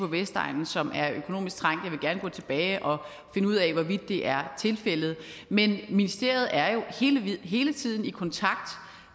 vestegnen som er økonomisk trængte jeg vil gerne gå tilbage og finde ud af hvorvidt det er tilfældet men ministeriet er jo hele tiden i kontakt